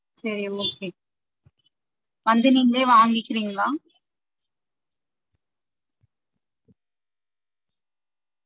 சரி okay வந்து நீங்களே வாங்கிக்கிறீங்களா?